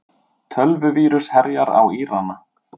Tölvuvírus herjar á Írana